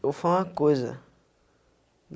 Eu falo uma coisa.